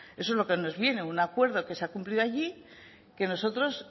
eso es lo que nos viene un acuerdo que se ha cumplido allí que nosotros